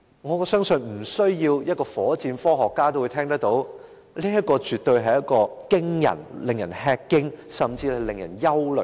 我相信即使不是火箭科學家也知道，此等數字絕對令人吃驚，甚至令人憂慮。